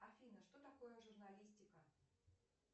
афина что такое журналистика